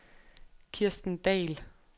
Kirsten Dahl